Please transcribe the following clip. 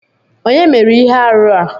Onye mere Ihe-árụ a?